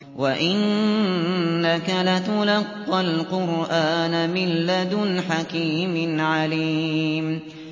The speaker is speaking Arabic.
وَإِنَّكَ لَتُلَقَّى الْقُرْآنَ مِن لَّدُنْ حَكِيمٍ عَلِيمٍ